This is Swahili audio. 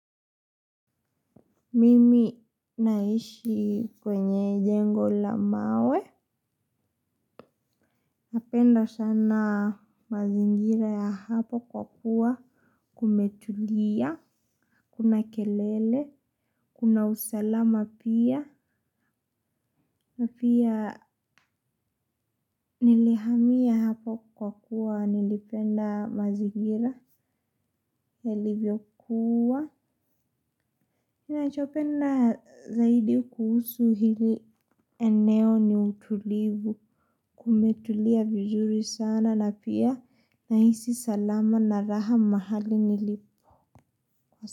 Mimi naishi kwenye jengo la mawe, napenda sana mazingira ya hapa kwa kuwa kumetulia kuna kelele kuna usalama pia na pia nilihamia hapa kwa kuwa nilipenda mazingira yalivyokuwa ninachopenda zaidi kuhusu hili eneo ni utulivu kumetulia vizuri sana na pia nahisi salama na raha mahali nilipo kwa sasa.